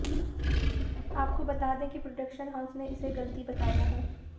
आपको बता दें कि प्रोडक्शन हाउस ने इसे गलती बताया है